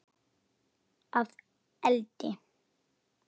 Að eldi?